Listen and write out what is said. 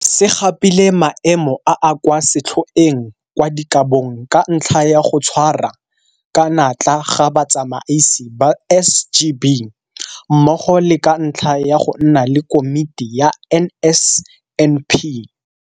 Se gapile maemo a a kwa setlhoeng kwa dikabong ka ntlha ya go tshwara ka natla ga batsamaisi ba SGB mmogo le ka ntlha ya go nna le Komiti ya NSNP.